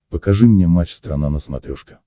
покажи мне матч страна на смотрешке